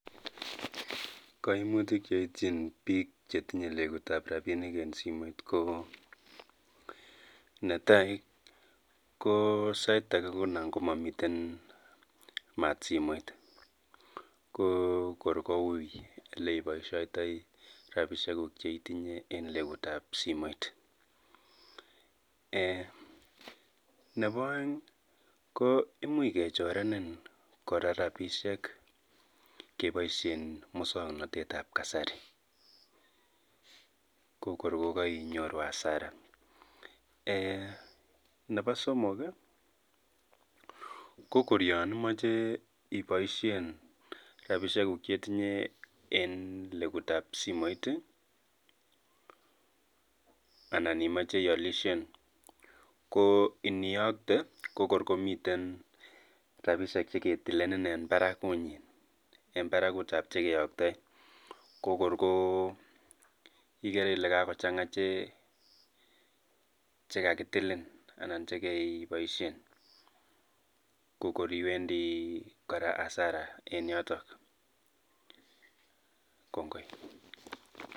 Kaimutik cheityin biik chetinye legutab rabiinik en simoit ko netai ko sait age ko nangomomiten maat simoit ko kor ko ui oleiboisiotoi rabiisiekuk cheitinye en legutab simoit, nebo oeng imuch kechorenen kora rabiisiek keboisien musognotetab kasari ko kor ko kainyoru hasara, nebo somok ko kor yon imoche iboisien rabiisiekuk cheitinye en legutab simoit ana imoche ialisien ko iniokte ko kor komiten rabiisiek cheketilelen en barakunyi eng barakuutab che keyoktoen ko kor ko ikere ile kakochanga che kakitilin anan chekeboisien ko kor iwendi kora hasara en yoto.